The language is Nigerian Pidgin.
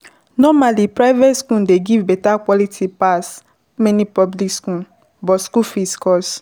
Normally, private school dey give better quality pass many public school but school fees cost